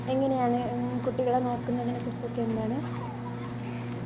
എങ്ങനെയാണ് കുട്ടികളെ നോക്കുന്നതിനെ കുറിച്ചൊക്കെ എന്താണ്